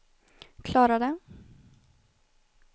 klarade